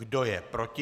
Kdo je proti?